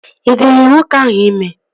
Ị dịrị nwoke ahụ ime?